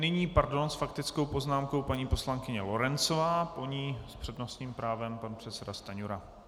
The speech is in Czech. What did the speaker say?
Nyní, pardon, s faktickou poznámkou paní poslankyně Lorencová, po ní s přednostním právem pan předseda Stanjura.